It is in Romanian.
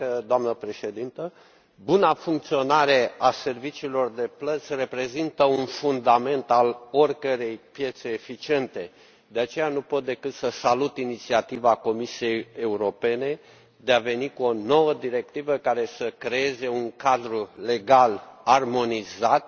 Doamnă președintă, buna funcționare a serviciilor de plăți reprezintă un fundament al oricărei piețe eficiente, de aceea nu pot decât să salut inițiativa Comisiei Europene de a veni cu o nouă directivă care să creeze un cadru legal armonizat,